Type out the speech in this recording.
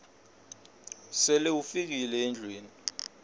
sele ufikile endlwini